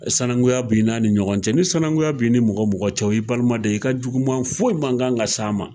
Sanakunya b'i na ni ɲɔgɔn cɛ, ni sinankunya bi ni mɔgɔ mɔgɔ cɛ o y'i baliman de ye i ka juguman foyi man kan ka se a ma.